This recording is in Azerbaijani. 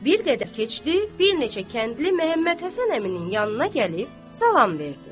Bir qədər keçdi, bir neçə kəndli Məhəmməd Həsən əminin yanına gəlib salam verdi.